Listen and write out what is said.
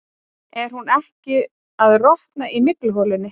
Er hún ekki að rotna í mygluholunni?